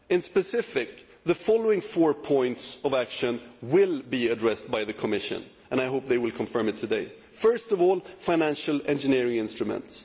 Specifically, the following four points for action will be addressed by the Commission and I hope it will confirm this today firstly, financial engineering instruments